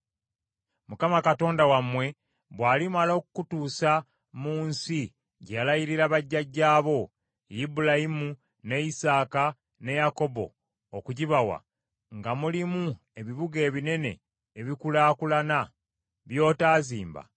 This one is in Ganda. “ Mukama Katonda wammwe bw’alimala okukutuusa mu nsi gye yalayirira bajjajjaabo: Ibulayimu, ne Isaaka, ne Yakobo okugibawa, nga mulimu ebibuga ebinene ebikulaakulana, by’otaazimba,